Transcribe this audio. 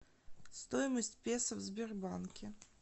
стоимость песо в сбербанке